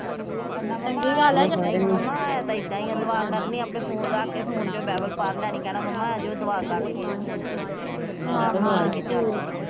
ਕਰਨਾ ਮੰਮਾ ਹੈ ਤਾ ਇਹਦਾ ਈਆ ਦੁਆ ਕਰਨੀ ਆਪੇ ਫੋਨ ਰੱਖ ਕੇ ਫੋਨ ਚੋ ਬਾਈਬਲ ਪੜ ਲੈਣੀ ਕਹਿਣਾ ਮੰਮਾ ਆਜੋ ਦੁਆ ਕਰ ਲਈਏ ਫੋਨ ਤੇ